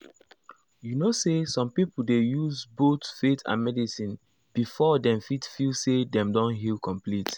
you know say some people dey use both faith and medicine before dem fit feel say dem don heal complete.